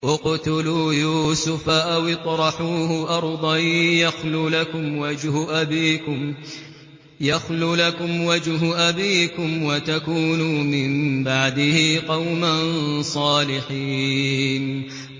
اقْتُلُوا يُوسُفَ أَوِ اطْرَحُوهُ أَرْضًا يَخْلُ لَكُمْ وَجْهُ أَبِيكُمْ وَتَكُونُوا مِن بَعْدِهِ قَوْمًا صَالِحِينَ